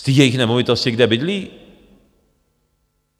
Z té jejich nemovitosti, kde bydlí?